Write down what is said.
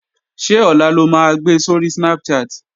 Ṣé ọ̀la lo máa gbe sóri Snapchat?